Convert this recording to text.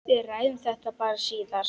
Við ræðum þetta bara síðar.